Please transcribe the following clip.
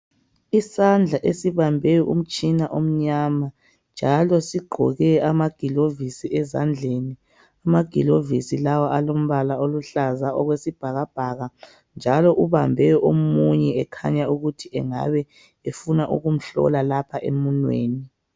Isandla esibambe umtshina omnyama njalo sigqoke amagilovisi ezandleni amagilovisi lawa alombala oluhlaza okwesibhakabhaka njalo ubambe omunye ekhanya ukuthi engabe efuna ukumhlola lapha emumweni.